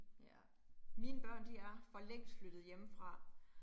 Ja, mine børn, de er for længst flyttet hjemmefra